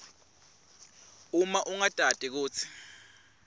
uma ungatati kutsi